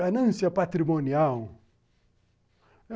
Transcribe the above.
Ganância patrimonial.